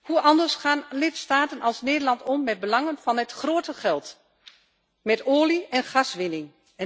Hoe anders gaan lidstaten als Nederland om met belangen van het grote geld, met olie en gaswinning?